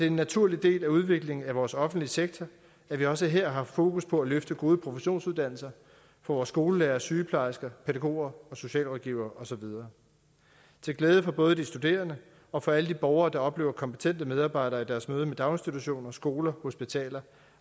en naturlig del af udviklingen af vores offentlige sektor at vi også her har fokus på at løfte gode professionsuddannelser for vores skolelærere sygeplejersker pædagoger socialrådgivere og så videre til glæde for både de studerende og for alle de borgere der oplever kompetente medarbejdere i deres møde med daginstitutioner skoler hospitaler